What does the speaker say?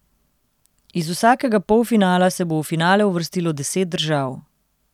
Iz vsakega polfinala se bo v finale uvrstilo deset držav.